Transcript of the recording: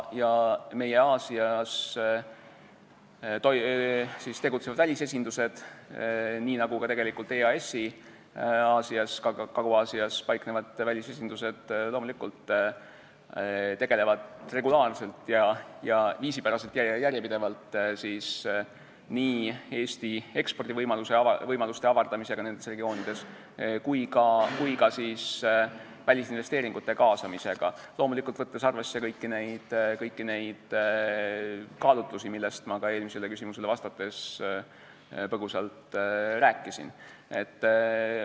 Meie välisesindused Aasias, nii nagu ka EAS-i Kagu-Aasias paiknevad välisesindused loomulikult tegelevad regulaarselt, viisipäraselt ja järjepidevalt nii Eesti ekspordivõimaluste avardamisega nendes regioonides kui ka välisinvesteeringute kaasamisega, võttes arvesse kõiki kaalutlusi, millest ma ka eelmisele küsimusele vastates põgusalt rääkisin.